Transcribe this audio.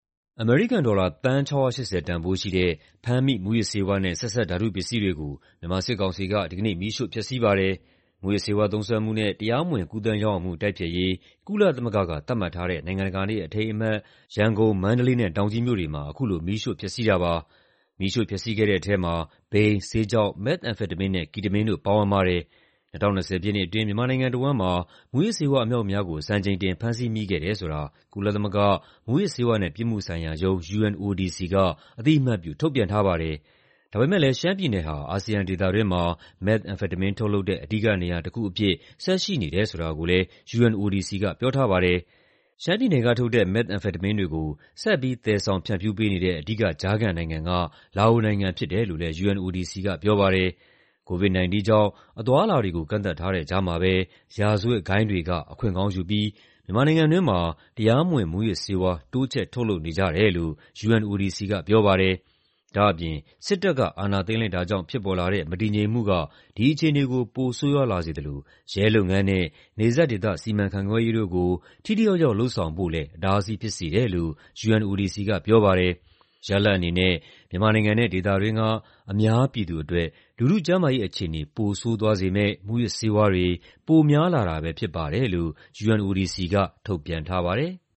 အမေရိကန်ဒေါ်လာ သန်း ၆၈၀ တန်ဖိုးရှိတဲ့ ဖမ်းမိ မူးယစ်ဆေးဝါးနဲ့ ဆက်စပ် ဓာတုပစ္စည်းတွေကို မြန်မာစစ်ကောင်စီက ဒီကနေ့ မီးရှို့ဖျက်ဆီးပါတယ်။ မူးယစ်ဆေးဝါး သုံးစွဲမှုနဲ့ တရားမဝင် ကူးသန်းရောင်းဝယ်မှု တိုက်ဖျက်ရေး ကုလသမဂ္ဂက သတ်မှတ်ထားတဲ့ နိုင်ငံတကာနေ့ အထိမ်းအမှတ် ရန်ကုန်၊ မန္တလေးနဲ့ တောင်ကြီးမြို့တွေမှာ အခုလို မီးရှို့ဖျက်ဆီးတာပါ။ မီးရှို့ဖျက်ဆီးခဲ့တဲ့ထဲမှာ ဘိန်း၊ ဆေးခြောက်၊ မက်သ်အမ်ဖက်တမင်းနဲ့ ကီတမင်းတို့ ပါဝင်ပါတယ်။ ၂၀၂၀ ပြည့်နှစ်အတွင်း မြန်မာနိုင်ငံတဝန်းမှာ မူးယစ်ဆေးဝါး အမြောက်အမြားကို စံချိန်တင် ဖမ်းဆီးမိခဲ့တယ်ဆိုတာ ကုလသမဂ္ဂ၊ မူးယစ်ဆေးဝါးနဲ့ ပြစ်မှုဆိုင်ရာရုံး (UNODC) က အသိအမှတ်ပြု ထုတ်ပြန်ထားပါတယ်။ ဒါပေမယ့်လည်း ရှမ်းပြည်နယ်ဟာ အာဆီယံဒေသတွင်းမှာ မက်သ်အမ်ဖက်တမင်း ထုတ်လုပ်တဲ့ အဓိကနေရာတခုအဖြစ် ဆက်ရှိနေတယ် ဆိုတာကိုလည်း UNODC က ပြောထားပါတယ်။ ရှမ်းပြည်နယ်ကထုတ်တဲ့ မက်သ်အမ်ဖက်တမင်းတွေကို ဆက်ပြီး သယ်ဆောင် ဖြန့်ဖြူးပေးနေတဲ့ အဓိကကြားခံနိုင်ငံက လာအိုနိုင်ငံ ဖြစ်တယ်လို့လည်း UNODC က ပြောပါတယ်။ COVID-19 ကြောင့် အသွားအလာတွေကို ကန့်သတ်ထားတဲ့ကြားမှာပဲ ရာဇဝတ်ဂိုဏ်းတွေက အခွင့်ကောင်းယူပြီး မြန်မာနိုင်ငံတွင်းမှာ တရားမဝင် မူးယစ်ဆေးဝါး တိုးချဲ့ ထုတ်လုပ်နေကြတယ်လို့ UNODC က ပြောပါတယ်။ ဒါ့အပြင် စစ်တပ်က အာဏာသိမ်းလိုက်တာကြောင့် ဖြစ်ပေါ်လာတဲ့ မတည်ငြိမ်မှုက ဒီအခြေအနေကို ပိုဆိုးရွားလာစေသလို ရဲလုပ်ငန်းနဲ့ နယ်စပ်ဒေသ စီမံခန့်ခွဲရေးတို့ကို ထိထိရောက်ရောက် လုပ်ဆောင်ဖို့လည်း အတားအဆီး ဖြစ်စေတယ်လို့ UNODC က ပြောပါတယ်။ ရလဒ်အနေနဲ့ မြန်မာနိုင်ငံနဲ့ ဒေသတွင်းက အများပြည်သူအတွက် လူထုကျန်းမာရေး အခြေအနေ ပိုဆိုးသွားစေမယ့် မူးယစ်ဆေးဝါးတွေ ပိုများလာတာပဲ ဖြစ်ပါတယ်လို့ UNODC က ထုတ်ပြန်ထားပါတယ်။